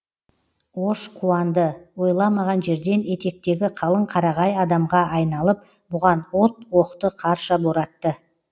ош қуанды ойламаған жерден етектегі қалың қарағай адамға айналып бұған от оқты қарша боратты